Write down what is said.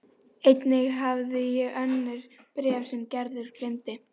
Einnig hafði ég önnur bréf sem Gerður geymdi.